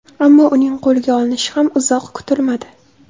Ammo uning qo‘lga olinishi ham uzoq kutilmadi.